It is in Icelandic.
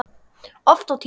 Oft á tíðum.